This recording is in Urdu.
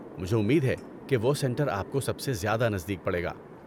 مجھے امید ہے کہ وہ سنٹر آپ کو سب سے نزدیک پڑے گا۔